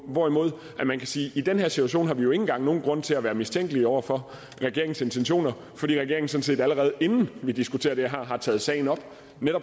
hvorimod man kan sige at i den her situation har vi jo ikke engang nogen grund til at være mistænkelige over for regeringens intentioner fordi regeringen sådan set allerede inden vi diskuterer det her har taget sagen op